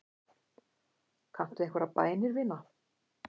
Kanntu einhverjar bænir, vina?